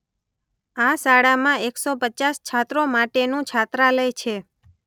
આ શાળામાં એકસો પચાસ છાત્રો માટેનુ છાત્રાલય છે.